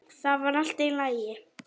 Það var allt í lagi.